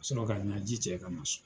Ka sɔrɔ ka n ɲaji cɛ ka na so